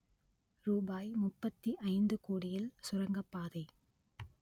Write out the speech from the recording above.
ரூபாய் முப்பத்தி ஐந்து கோடியில் சுரங்கப்பாதை